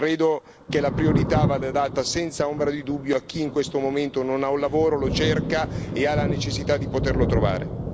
Credo che la priorità vada data senza ombra di dubbio a chi in questo momento non ha un lavoro, lo cerca e ha la necessità di poterlo trovare.